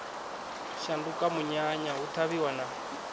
shanduka munyanya hu ṱhavhiwa na